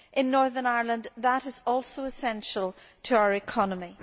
In Northern Ireland that is also essential to our economy.